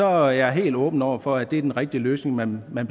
er jeg helt åben over for at det er den rigtige løsning man man